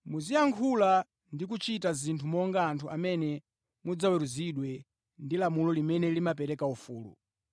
Muziyankhula ndi kuchita zinthu monga anthu amene mudzaweruzidwe ndi lamulo limene limapereka ufulu,